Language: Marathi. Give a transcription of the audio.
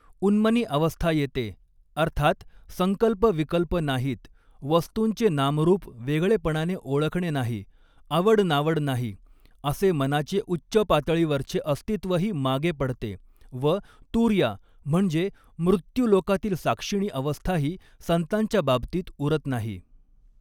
उन्मनी अवस्था येते अर्थात संकल्प विकल्प नाहीत वस्तूंचे नामरूप वेगळेपणाने ओळखणे नाही आवड नावड नाही असे मनाचे उच्च पातळीवरचे अस्तित्वही मागे पडते व तुर्या म्हणजे मृत्युलोकातील साक्षिणी अवस्थाही संतांच्या बाबतीत उरत नाही.